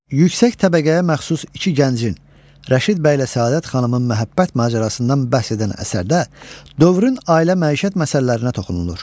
Yüksək təbəqəyə məxsus iki gəncin, Rəşid bəylə Səadət xanımın məhəbbət macərasından bəhs edən əsərdə dövrün ailə məişət məsələlərinə toxunulur.